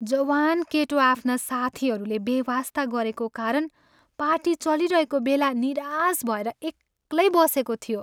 जवान केटो आफ्ना साथीहरूले बेवास्ता गरेको कारण पार्टी चलिरहेको बेला निराश भएर एक्लै बसेको थियो।